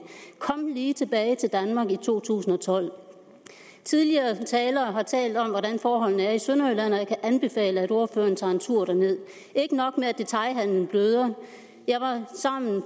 kom lige tilbage til danmark i to tusind og tolv tidligere talere har talt om hvordan forholdene er i sønderjylland og jeg kan anbefale at ordføreren tager en tur derned detailhandelen bløder jeg var